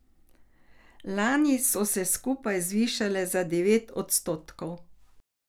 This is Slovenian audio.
Lani so se skupaj zvišale za devet odstotkov.